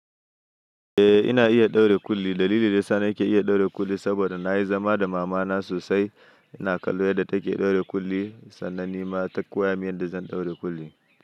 Eh ina iya ɗaure kulli. Dalili da sani ke iya ɗaure kulli saboda na yi zama da mama na sosai. Ina kallon yadda take daure kulli, sannan nima ta koyamun yanda zan daure killi.